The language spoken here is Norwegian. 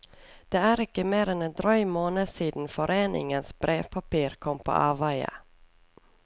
Det er ikke mer enn en drøy måned siden foreningens brevpapir kom på avveie.